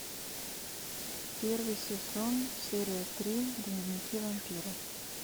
первый сезон серия три дневники вампира